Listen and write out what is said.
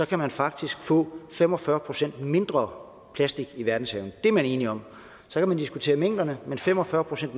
kan man faktisk få fem og fyrre procent mindre plastik i verdenshavene det er man enige om så kan man diskutere mængderne men fem og fyrre procent